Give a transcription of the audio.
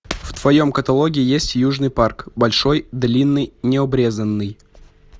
в твоем каталоге есть южный парк большой длинный необрезанный